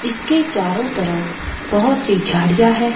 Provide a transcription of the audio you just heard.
इसके चारों तरफ बोहोत सी झाड़ियां है।